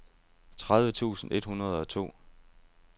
tredive tusind et hundrede og to